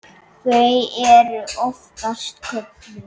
Þau eru oftast kölluð